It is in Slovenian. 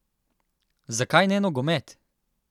Zakaj ne nogomet?